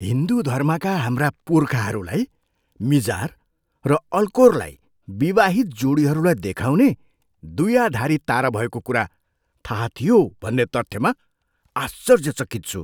हिन्दू धर्मका हाम्रा पुर्खाहरूलाई मिजार र अल्कोरलाई विवाहित जोडीहरूलाई देखाउने द्विआधारी तारा भएको कुरा थाहा थियो भन्ने तथ्यमा आश्चर्यचकित छु।